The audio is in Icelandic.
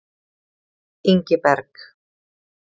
Ingiberg